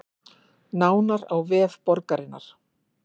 Nánar á vef borgarinnar